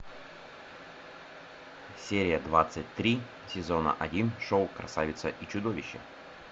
серия двадцать три сезона один шоу красавица и чудовище